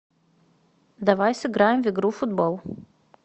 давай сыграем в игру футбол